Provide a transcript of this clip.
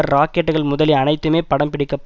ராக்கெட்டுகள் முதலிய அனைத்துமே படம் பிடிக்கப்பட்